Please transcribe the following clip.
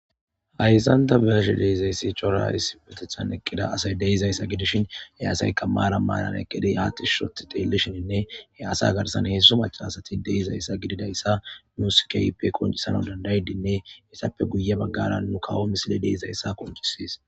Haysan ta beyashe de'izaysi cora issippetethan eqida asay de'izaysa gidishin he asayka maaran maaran eqidi ha tishi histin xeelishenne he asa garsan hezhu maca asay de'izaysa nus keehippe qonc'issana danda'idinne hegappe guye bagara nu kawo misiley de'izaysa qonc'isses.